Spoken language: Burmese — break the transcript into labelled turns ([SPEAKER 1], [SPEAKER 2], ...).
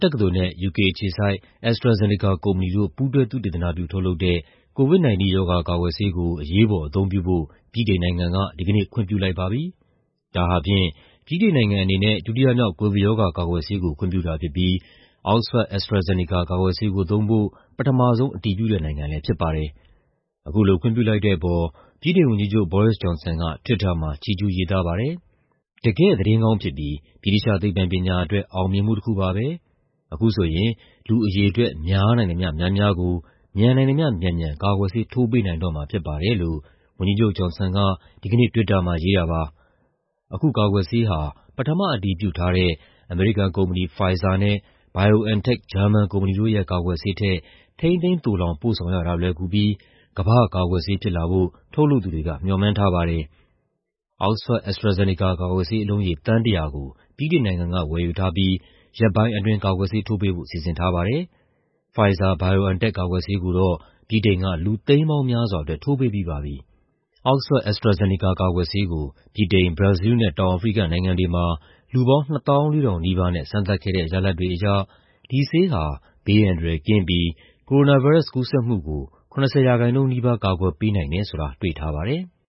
[SPEAKER 1] တက္ကသိုလ်နဲ့ ယူကေအခြေစိုက် AstraZeneca ကုမ္ပဏီတို့ ပူးတွဲ သုတေသနပြုထုတ်လုပ်တဲ့ COVID-19 ရောဂါကာကွယ်ဆေးကို အရေးပေါ်အသုံးပြုဖို့ ဗြိတိန်နိုင်ငံက ဒီကနေ့ ခွင့်ပြုလိုက်ပါပြီ။ ဒါဟာဖြင့် ဗြိတိန်နိုင်ငံအနေနဲ့ ဒုတိယမြောက် ကိုဗစ်ရောဂါကာကွယ်ဆေးကို ခွင့်ပြုတာဖြစ်ပြီး Oxford-AstraZeneca ကာကွယ်ဆေးကိုသုံးဖို့ ပထမဆုံး အတည်ပြုတဲ့နိုင်ငံလည်းဖြစ်ပါတယ်။ အခုလို ခွင့်ပြုလိုက်တဲ့အပေါ် ဗြိတိန်ဝန်ကြီးချုပ် Boris Johnson က Twitter မှာ ချီးကျူးရေးသားခဲ့ပါတယ်။ "တကယ့်သတင်းကောင်းဖြစ်ပြီး ဗြိတိသ ျှသိပ္ပံပညာအတွက် အောင်မြင်မှုတခုပါပဲ။ အခုဆိုရင် လူအရေအတွက် များနိုင်သမ ျှ များများကို မြန်နိုင်သမ ျှမြန်မြန် ကာကွယ်ဆေးထိုးပေးနိုင်တော့မှာဖြစ်ပါတယ်။" လို့ ဝန်ကြီးချုပ် Johnson က ဒီကနေ့ Twitter မှာရေးခဲ့တာပါ။ အခုကာကွယ်ဆေးဟာ ပထမအတည်ပြုထားတဲ့ အမေရိကန်ကုမ္ပဏီ Pfizer နဲ့ BioNTech ဂျာမန်ကုမ္ပဏီတို့ရဲ့ ကာကွယ်ဆေးထက် ထိန်းသိမ်းသိုလှောင်ပို့ဆောင်ရတာ လွယ်ကူပြီး "ကမ္ဘာ့ကာကွယ်ဆေး" ဖြစ်လာဖို့ ထုတ်လုပ်သူတွေက မေ ျှာ်မှန်းထားပါတယ်။ Oxford-AstraZeneca ကာကွယ်ဆေး အလုံးရေ သန်း ၁၀၀ ကို ဗြိတိန်နိုင်ငံက ဝယ်ယူထားပြီး ရက်ပိုင်းအတွင်း ကာကွယ်ဆေးထိုးပေးဖို့ စီစဉ်ထားပါတယ်။ Pfizer-BioNTech ကာကွယ်ဆေးကိုတော့ ဗြိတိန်က လူသိန်းပေါင်းများစွာအတွက် ထိုးပေးပြီးပါပြီ။ Oxford-AstraZeneca ကာကွယ်ဆေးကို ဗြိတိန်၊ ဘရာဇီးလ်နဲ့ တောင်အာဖရိကနိုင်ငံတွေမှာ လူပေါင်း ၂၄,၀၀၀ နီးပါးနဲ့ စမ်းသပ်ခဲ့တဲ့ ရလဒ်တွေအရ ဒီဆေးဟာ ဘေးအန္တရာယ်ကင်းပြီး ကိုရိုနာဗိုင်းရပ်စ် ကူးစက်မှုကို ၇၀% နီးပါး ကာကွယ်ပေးနိုင်တယ်ဆိုတာ တွေ့ထားပါတယ်။